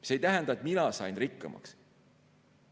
See ei tähenda, et mina sain rikkamaks.